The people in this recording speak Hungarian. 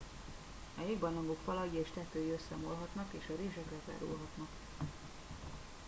a jégbarlangok falai és tetői összeomolhatnak és a rések lezárulhatnak